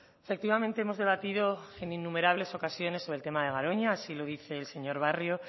efectivamente hemos debatido en innumerables ocasiones sobre el tema de garoña así lo dice el señor barrio